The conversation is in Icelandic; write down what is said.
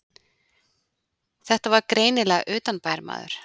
Þetta var greinilega utanbæjarmaður.